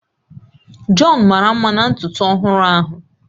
John mara mma na ntutu ọhụrụ ahụ